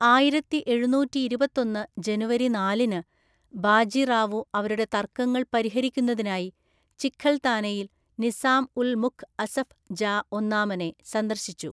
ആയിരത്തിഎഴുനൂറ്റിഇരുപത്തൊന്നു ജനുവരി നാലിന്, ബാജി റാവു അവരുടെ തർക്കങ്ങൾ പരിഹരിക്കുന്നതിനായി ചിഖൽതാനയിൽ നിസാം ഉൽ മുൽഖ് അസഫ് ജാ ഒന്നാമനെ സന്ദർശിച്ചു.